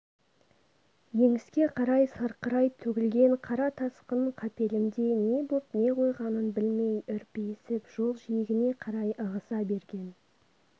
еңіске қарай сарқырай төгілген қара тасқын қапелімде не боп не қойғанын білмей үрпиісіп жол жиегіне қарай ығыса берген